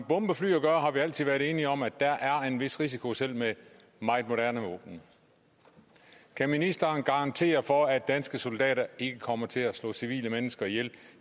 bombefly at gøre har vi altid været enige om at der er en vis risiko selv med meget moderne våben kan ministeren garantere for at danske soldater ikke kommer til at slå civile mennesker ihjel